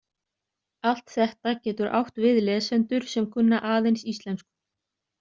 Allt þetta getur átt við lesendur sem kunna aðeins íslensku.